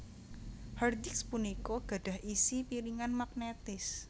Hard disk punika gadhah isi piringan magnetis